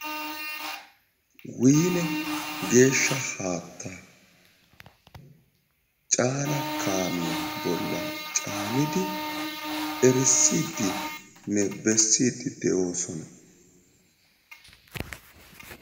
woynne geeshaa haattaa caaana kaamiya bolan caanidi erisiidinne besiidi de'oosona